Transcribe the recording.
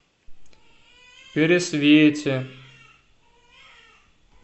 пересвете